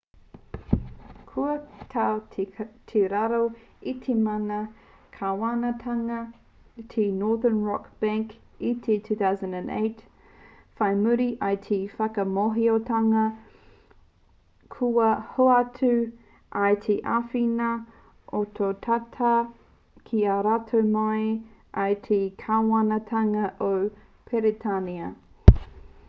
kua tau ki raro i te mana kāwanatanga te northern rock bank i te 2008 whai muri i te whakamōhiotanga kua hoatu ai he āwhina ohotata ki a rātou mai i te kāwanatanga o peretānia